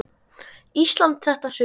Íslandi þetta sumar.